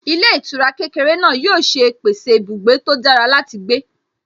Ilé ìtura kékeré náà yóò ṣe pèsè ibùgbé tó dára láti gbé